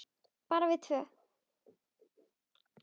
Bara við tvö?